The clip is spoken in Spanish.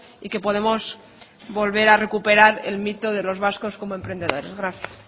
y que podemos volver a recuperar el mito de los vascos como emprendedores gracias